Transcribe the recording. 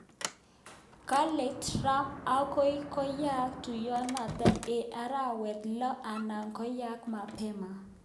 Kale Trump agoi koyaak tuyenoto eng arawetab lo ana koyaak mabema